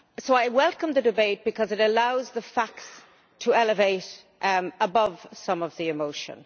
I welcome the debate because it allows the facts to elevate above some of the emotion.